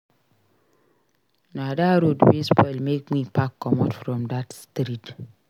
Na dat road wey spoil make me pack comot from dat street.